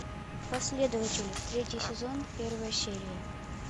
последователи третий сезон первая серия